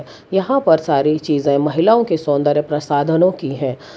यहां पर सारी चीजें महिलाओं के सौंदर्य प्रसाधनों की है।